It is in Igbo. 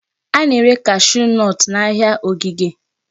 A na-ere cashew nut n'ahịa ogige.